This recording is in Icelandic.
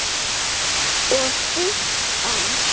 Lægri vígslur voru